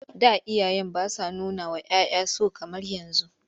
Da iyaye ba sa nunawa 'ya 'ya so kamar yanzu..